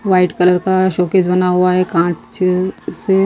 white colour का showcase बना हुआ है कॉंच से--